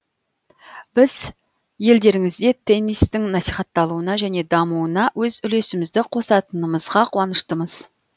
біз елдеріңізде теннистің насихатталуына және дамуына өз үлесімізді қосатынымызға қуаныштымыз